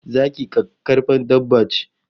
Zaki kakkarfan dabba ce